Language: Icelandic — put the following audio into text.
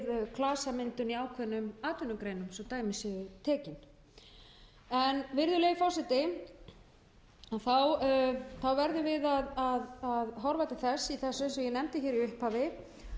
atvinnugreinum svo dæmi séu tekin virðulegi forseti þá verðum við að horfa til þess eins og ég nefndi í upphafi